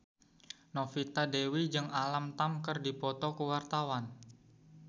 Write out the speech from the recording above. Novita Dewi jeung Alam Tam keur dipoto ku wartawan